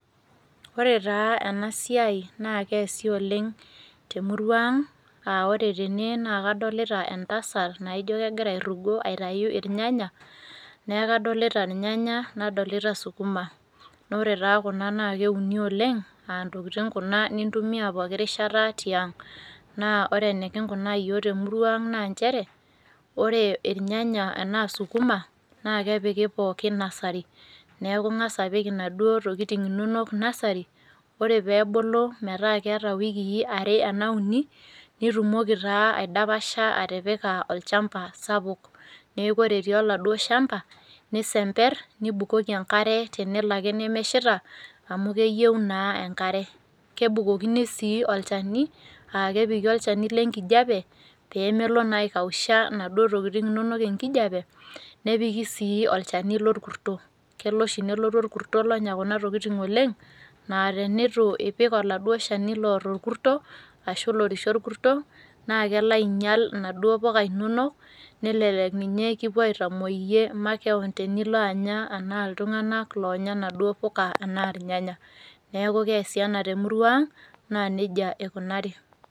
Ore taa enasiai naa keesi oleng temurua ang, ah ore tene naa kadolita entasat naijo kegira airrugo aitayu irnyanya, neeku kadolita irnyanya, nadolita sukuma. Ore taa kuna naa keuni oleng, ah ntokiting kuna nintumia poki rishata tiang'. Naa ore enikinkunaa yiok temurua ang naa njere, ore irnyanya enaa sukuma, naa kepiki pookin nasari. Neeku ing'asa apik inaduo tokiting inonok nasari, ore pebulu metaa keeta wikii are ena uni, nitumoki taa aidapasha atipika olchamba sapuk. Neeku ore etii aladuo shamba, nisember, nibukoki enkare tenelo ake nemeshita, amu keyieu naa enkare. Kebukokini si olchani, ah kepiki olchani lenkijape, pemelo naa aikausha naduo tokiting inonok enkijape, nepiki si olchani lorkuto. Kelo oshi nelotu orkuto lonya kuna tokiting oleng, na tenitu ipik aladuo shani lor orkuto, ashu lorishie orkuto, naa kelo ainyal inaduo puka inonok, nelelek ninye kipuo aitamoi iyie makeon tenilo anaa iltung'anak loonya naduo puka anaa irnyanya. Neeku keesi ena temurua ang, naa nejia ikunari.